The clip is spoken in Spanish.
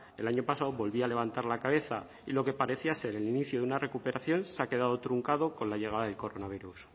el año pasado volvía a levantar la cabeza y lo que parecía ser el inicio de una recuperación se ha quedado truncado con la llegada del coronavirus